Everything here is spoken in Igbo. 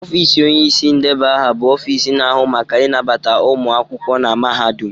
Ofiisi onyeisi ndeba aha bụ Ofiisi na ahụ maka ịnabata ụmụ akwụkwọ na mahadum.